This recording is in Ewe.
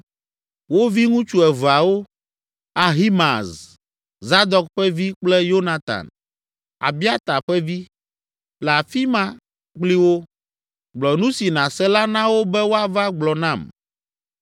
Wo viŋutsu eveawo, Ahimaaz, Zadok ƒe vi kple Yonatan, Abiata ƒe vi, le afi ma kpli wo. Gblɔ nu si nàse la na wo be woava gblɔ nam.”